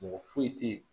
Mɔgɔ foyi tɛ ye